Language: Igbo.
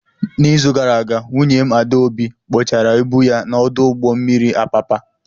N'izu gara aga, nwunye m, Adaobi, kpochara ibu ya n'ọdụ ụgbọ mmiri Apapa.